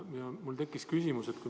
Mul tekkis küsimus.